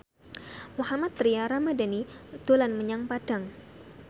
Mohammad Tria Ramadhani dolan menyang Padang